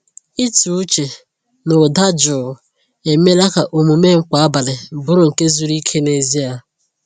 Ịtụ uche na ụda jụụ emeela ka omume m kwa abalị bụrụ nke zuru ike n’ezie.